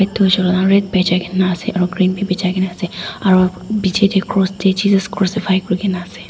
etu red bhejai ke na ase aru green bhi bechai ke na ase aro bijli teh cross teh jesus christ crossify kuri ke na ase.